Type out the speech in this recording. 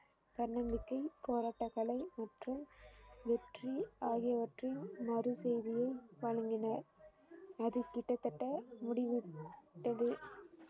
தன்னம்பிக்கை போராட்டக்கலை மற்றும் வெற்றி ஆகியவற்றின் மறு செய்தியை வழங்கினர் அது கிட்டத்தட்ட முடிவுட்டது